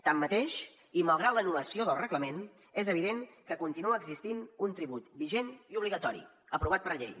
tanmateix i malgrat l’anul·lació del reglament és evident que continua existint un tribut vigent i obligatori aprovat per llei